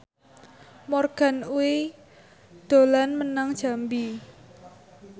Morgan Oey dolan menyang Jambi